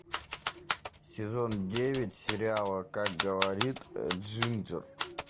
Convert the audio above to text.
сезон девять сериала как говорит джинджер